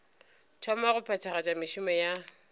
thoma go phethagatša mešomo ya